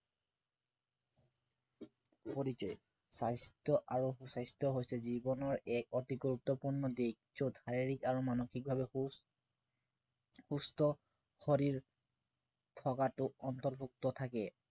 স্বাস্থ্য় আৰু সু-স্বাস্থ্য় হৈছে জীৱনৰ এক গুৰুত্বপূৰ্ণ দিশ যত শাৰীৰিক আৰু মানসিকভাৱে সু সুস্থ শৰীৰ থকাটো অন্তৰ্ভুক্ত থাকে